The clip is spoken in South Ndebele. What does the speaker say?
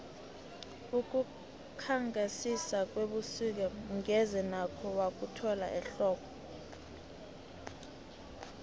ukukhangisa kwebusik ngeze nakho wakuthola ehlobo